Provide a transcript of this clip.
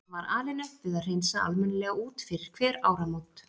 Var alin upp við að hreinsa almennilega út fyrir hver áramót.